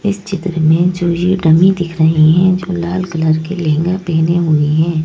इस चित्र में जो ये डमी दिख रही है जो लाल कलर के लहंगा पहने हुए हैं।